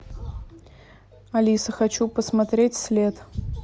алиса хочу посмотреть след